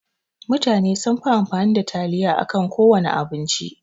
Mutane sunfi amfani da taliya akan kowana abinci.